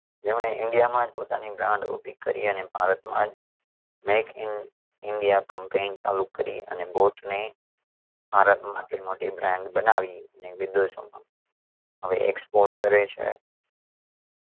જેમણે ઈન્ડિયામાં જ પોતાની બ્રાન્ડ ઊભી કરી અને ભારતમાં જ make in india campaign ચાલુ કરી અને boat ને ભારતમાં આટલી મોટી brand બનાવી ને વિદેશોમાં હવે export કરે છે.